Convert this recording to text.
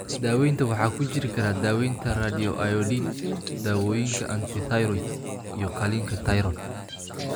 Daawaynta waxaa ku jiri kara daawaynta radioiodine, daawooyinka antithyroid, iyo qaliinka tayroodh.